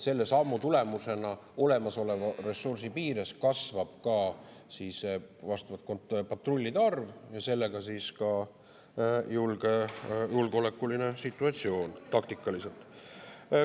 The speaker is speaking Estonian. Selle sammu tulemusena kasvab olemasoleva ressursi piires vastavalt patrullide arv ja julgeolekuline situatsioon taktikaliselt.